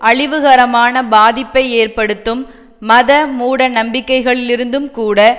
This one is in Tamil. அழிவுகரமான பாதிப்பை ஏற்படுத்தும் மத மூட நம்பிக்கைகளிலிருந்தும் கூட